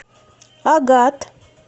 агат